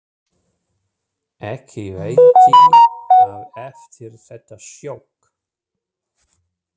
Ekki veitti af eftir þetta sjokk.